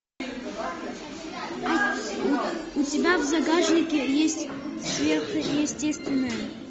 у тебя в загашнике есть сверхъестественное